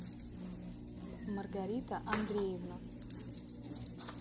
маргарита андреевна